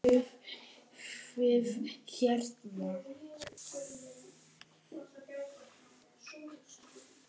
Fóruð þið hérna?